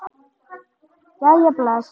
Jæja bless